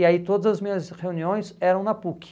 E aí todas as minhas reuniões eram na PUC.